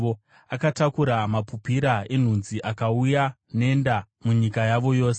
Akataura mapupira enhunzi akauya, nenda munyika yavo yose.